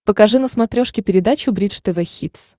покажи на смотрешке передачу бридж тв хитс